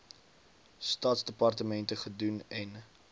staatsdepartemente gedoen n